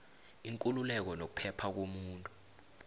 ikululeko nokuphepha komuntu